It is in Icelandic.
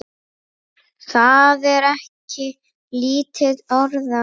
Það er ekki lítil orða!